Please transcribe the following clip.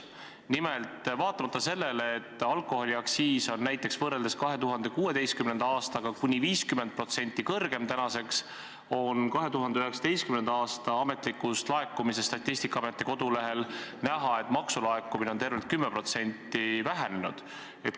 Nimelt, vaatamata sellele, et alkoholiaktsiis on näiteks võrreldes 2016. aastaga kuni 50% kõrgem, on 2019. aasta ametlikest andmetest Statistikaameti kodulehel näha, et maksulaekumine on tervelt 10% vähenenud.